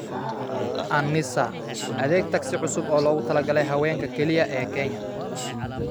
An-Nisaa: Adeeg taksi cusub oo loogu talagalay haweenka kaliya ee Kenya